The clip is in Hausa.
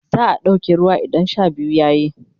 za'a ɗauke ruwa idan Sha biyu yayi